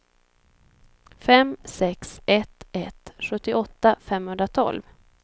fem sex ett ett sjuttioåtta femhundratolv